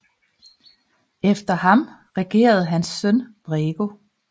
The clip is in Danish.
Efter ham regerede hans søn Brego